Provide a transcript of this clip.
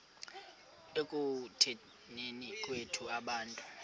ekutuneni kwethu abantu